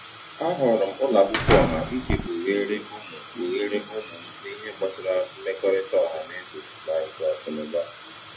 A họọrọ m ụlọ akwụkwọ ọha iji kpugheere ụmụ kpugheere ụmụ m n'ihe gbasara mmekọrịta ọha na eze na nke akụ na ụba.